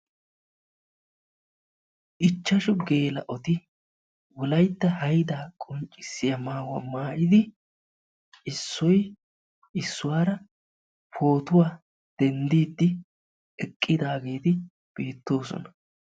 Ichchashu geela'oti wolaytta haydaa qonccissiya maayuwaa maayidi issoy issuwaara pootuwa denddiiddi eqqidaageeti beettoosona.